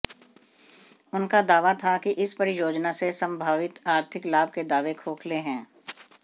उनका दावा था कि इस परियोजना से संम्भावित आर्थिक लाभ के दावे खोखले है